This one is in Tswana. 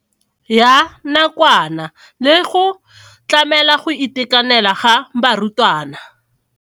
Ya nakwana le go tlamela go itekanela ga barutwana.